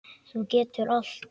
Þú getur allt.